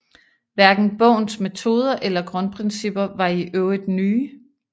Hverken bogens metoder eller grundprincipper var i øvrigt nye